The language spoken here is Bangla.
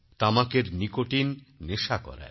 তামাকেরনিকোটিন নেশা করায়